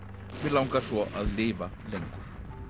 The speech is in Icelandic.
mig langar svo að lifa lengur